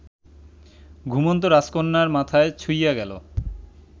ঘুমন্ত রাজকন্যার মাথায় ছুঁইয়া গেল